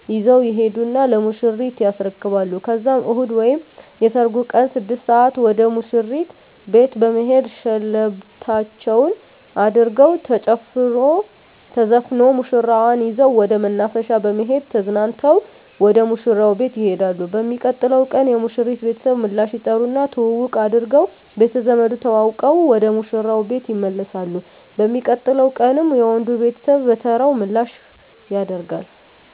ይዘዉ ይሄዱና ለሙሽሪት ያስረክባሉ ከዛም እሁድ ወይም የሰርጉ ቀን 6 ሰአት ወደ ሙሽሪት ቤት በመሄድ ሸለበታቸዉን አድርገዉ ተጨፍሮ ተዘፍኖ ሙሽራዋን ይዘዉ ወደ መናፈሻ በመሄድ ተዝናንተዉ ወደ ሙሽራዉ ቤት ይሄዳሉ። በሚቀጥለዉ ቀን የሙሽሪት ቤተሰብ ምላሽ ይጠሩና ትዉዉቅ አድርገዉ ቤተዘመድ ተዋዉቀዉ ወደ ሙሽራዉ ቤት ይመለሳሉ። በሚቀጥለዉ ቀንም የወንዱ ቤተሰብ በተራዉ ምላሽ ያደ